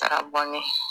Taara bɔnɛ